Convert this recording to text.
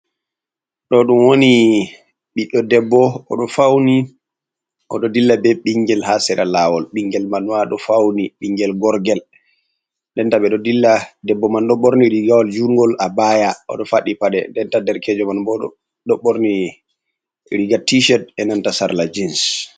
Ɗo ɗum woni ɓiɗɗo ɗebbo. oɗo fauni oɗo ɗilla be bingel ha sera lawol. Bingel manma ɗo fauni. Bingel gorgel. Ɗenta be ɗo ɗilla. Ɗebbo man ɗo borni rigawal jungol, abaya. oɗo faɗɗi paɗe. Ɗenta ɗerkejo man bo ɗo borni riga ticheɗ e nanta sarla jins.